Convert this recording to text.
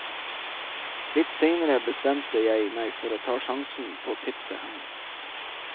Litt senere bestemte jeg meg for å ta sjansen på tipset hennes.